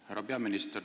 Härra peaminister!